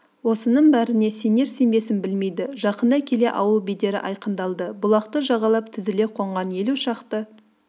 осының бәріне сенер-сенбесін білмейді жақындай келе ауыл бедері айқындалды бұлақты жағалай тізіле қонған елу шақты